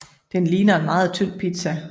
Den ligner en meget tynd pizza